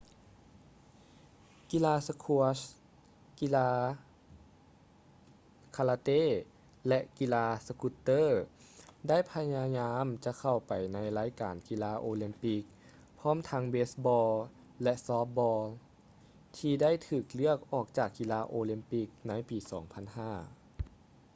ກິລາສະຄວດສ໌ squash ກິລາຄາລາເຕ້ ແລະ ກິລາສະກຸດເຕີ roller ໄດ້ພະຍາຍາມຈະເຂົ້າໄປໃນລາຍການກິລາໂອລິມປິກ ພ້ອມທັງເບສ໌ບອລ໌ baseball ແລະ ຊອບທ໌ບອລ໌ softball ທີ່ໄດ້ຖືກເລືອກອອກຈາກກິລາໂອລິມປິກໃນປີ 2005